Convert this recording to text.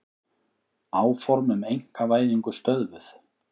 Áform um einkavæðingu stöðvuð